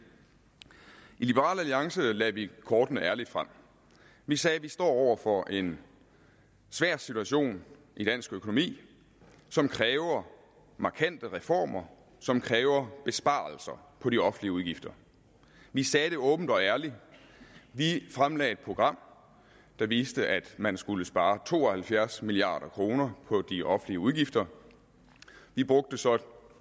i liberal alliance lagde vi kortene ærligt frem vi sagde vi står over for en svær situation i dansk økonomi som kræver markante reformer som kræver besparelser på de offentlige udgifter vi sagde det åbent og ærligt vi fremlagde et program der viste at man skulle spare to og halvfjerds milliard kroner på de offentlige udgifter vi